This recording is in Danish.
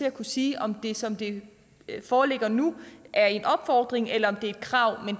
at kunne sige om det som det foreligger nu er en opfordring eller et krav men